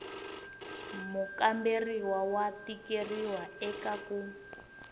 mukamberiwa wa tikeriwa eka ku